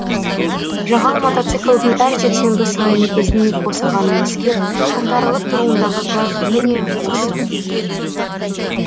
жағал мотоциклдің әр жексенбі сайын біздің босағаны иіскеп қаңтарылып тұруындағы гәп міне осы